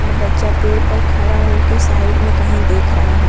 और बच्चा पेड़ पर खड़ा होके साइड में कही देख रहा है।